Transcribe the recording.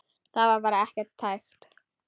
Það var bara ekki hægt.